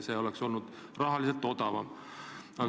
See oleks nagu rahaliselt odavam.